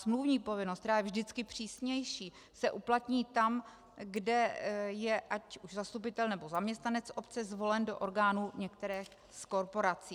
Smluvní povinnost, která je vždycky přísnější, se uplatní tam, kde je ať už zastupitel, nebo zaměstnanec obce zvolen do orgánu některé z korporací.